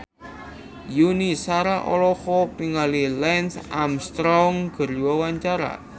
Yuni Shara olohok ningali Lance Armstrong keur diwawancara